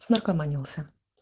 снаркоманился